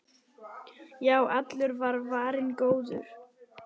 Já, allur var varinn góður!